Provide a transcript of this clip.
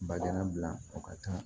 Bajalan bila o ka ca